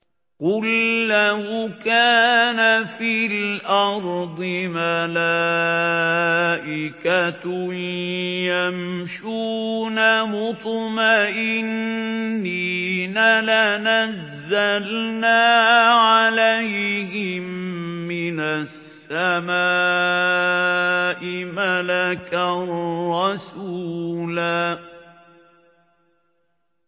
قُل لَّوْ كَانَ فِي الْأَرْضِ مَلَائِكَةٌ يَمْشُونَ مُطْمَئِنِّينَ لَنَزَّلْنَا عَلَيْهِم مِّنَ السَّمَاءِ مَلَكًا رَّسُولًا